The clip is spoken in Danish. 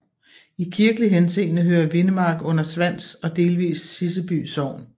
I kirkelig henseende hører Vindemark under Svans og delvis Siseby Sogn